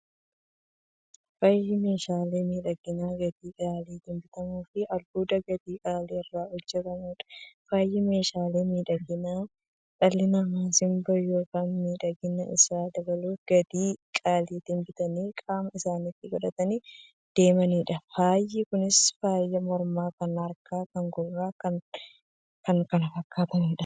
Faayyi meeshaalee miidhaginaa gatii qaalitiin bitamuufi albuuda gatii qaalii irraa hojjatamuudha. Faayyi meeshaalee miidhaginaa, dhalli namaa simboo yookiin miidhagina isaanii dabaluuf, gatii qaalitiin bitanii qaama isaanitti qodhatanii deemaniidha. Faayyi Kunis; faaya mormaa, kan harkaa, kan gurraafi kan kana fakkataniidha.